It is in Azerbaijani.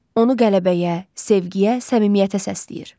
Onu qələbəyə, sevgiyə, səmimiyyətə səsləyir.